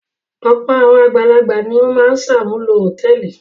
Ọ̀pọ̀ àwọn àgbàlagbà ni ó máa ń ṣàmúlò hòtẹ́ẹ́lì.